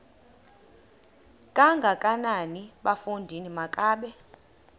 kangakanana bafondini makabe